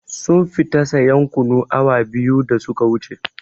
Sun fita sayan kunu awa biyu da su ka wuce